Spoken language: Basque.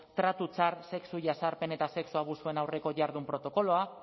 tratu txar sexu jazarpen eta sexu abusuen aurreko jardun protokoloa